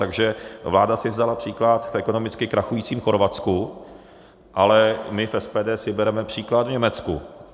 Takže vláda si vzala příklad v ekonomicky krachujícím Chorvatsku, ale my v SPD si bereme příklad v Německu.